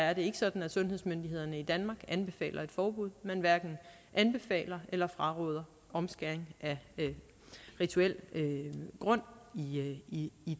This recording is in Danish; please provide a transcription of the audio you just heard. er det ikke sådan at sundhedsmyndighederne i danmark anbefaler et forbud man hverken anbefaler eller fraråder omskæring af rituel grund i